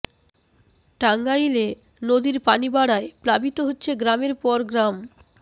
টাঙ্গাইলে নদীর পানি বাড়ায় প্লাবিত হচ্ছে গ্রামের পর গ্রাম